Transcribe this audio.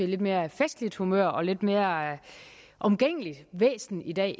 lidt mere festligt humør og et lidt mere omgængeligt væsen i dag